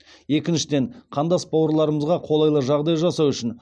екіншіден қандас бауырларымызға қолайлы жағдай жасау үшін